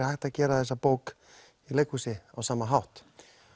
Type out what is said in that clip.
hægt að gera þessa bók í leikhúsi á sama hátt